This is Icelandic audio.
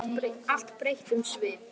Allt breytti um svip.